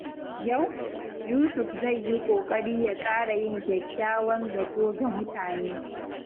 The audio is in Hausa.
Yau, Yusuf zai yi ƙoƙari ya ƙara yin kyakkyawan zato ga mutane.